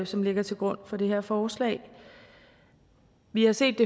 som ligger til grund for det her forslag vi har set